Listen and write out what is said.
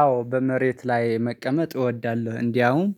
አዎ በመሬት ላይ መቀመጥ እወዳለሁ። እንደውም